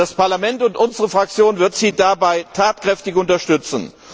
Das Parlament und unsere Fraktion werden Sie dabei tatkräftig unterstützen.